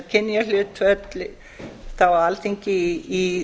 kynjahlutföll þá á alþingi í